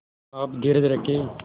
आप धीरज रखें